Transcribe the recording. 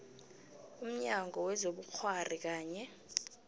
umnyango wezobukghwari kanye